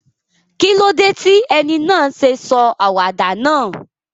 Kílódé ti eni náà sé sọ àwàdà náà?